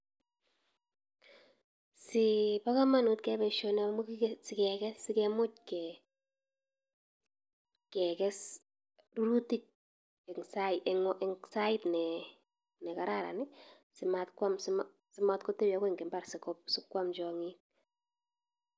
Si bo kamanut keyai boisioni amu kige, sikeges. Si kemuch ke keges rurutik eng sait ne ne kararan, simat kwam, simat kotebi agoi eng imbar siko sikwam tiong'ik.